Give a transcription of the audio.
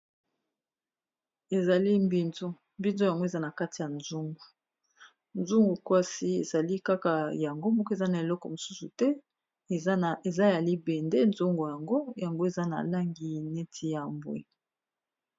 Ezali mbinzo mbinzo yango eza na kati ya nzungu nzungu kwasi ezali kaka yango moko eza na eleko mosusu te eza ya libende nzungo yango yango eza na langi neti ya mbwe.